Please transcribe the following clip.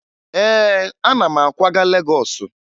Ee, ana m akwaga Legọọsụ